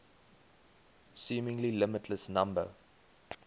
seemingly limitless number